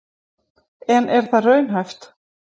En er það raunhæft?